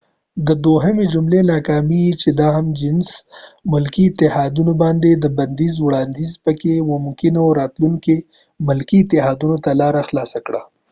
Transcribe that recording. د دوهمی جملی ناکامی چې د هم جنس ملکې اتحاديو باندي د بنديز وړانديز پکې و ممکن په راتلونکې کې ملکې اتحاديو ته لاره خلاصه کړي